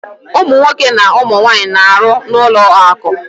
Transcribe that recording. Ụmụ nwoke na ụmụ nwaanyị na-arụ n'ụlọakụ